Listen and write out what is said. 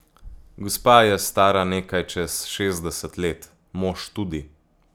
Gospa je stara nekaj čez šestdeset let, mož tudi.